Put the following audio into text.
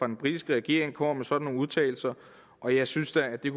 den britiske regering kommer med sådan nogle udtalelser og jeg synes da at vi